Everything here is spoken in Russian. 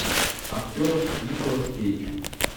актер николас кейдж